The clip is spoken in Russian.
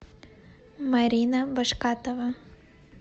марина башкатова